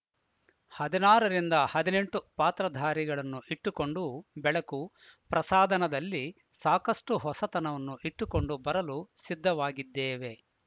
ಹದಿನಾರು ರಿಂದ ಹದಿನೆಂಟು ಪಾತ್ರಧಾರಿಗಳನ್ನು ಇಟ್ಟುಕೊಂಡು ಬೆಳಕು ಪ್ರಸಾದನದಲ್ಲಿ ಸಾಕಷ್ಟುಹೊಸತನವನ್ನು ಇಟ್ಟುಕೊಂಡು ಬರಲು ಸಿದ್ಧವಾಗಿದ್ದೇವೆ